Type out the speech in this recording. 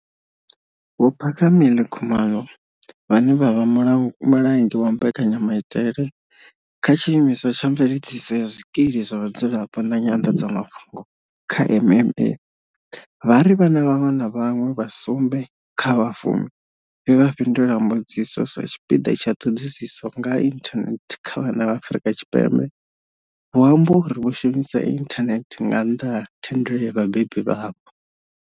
Vho Phakamile Khumalo vhane vha vha mula mulenzhe wa mbekanyamaitele kha tshiimiswa tsha mveledziso ya zwikili zwa vhadzulapo na nyanḓadzamafhungo kha MMA, vha ri vhana vhaṅwe na vhaṅwe vha sumbe kha vha fumi vhe vha fhindula mbudziso sa tshipiḓa tsha ṱhoḓisiso nga ha inthanethe kha vhana vha Afrika Tshipembe, vho amba uri vho shumisa inthanethe nga nnḓa ha thendelo ya vhabebi vhavho.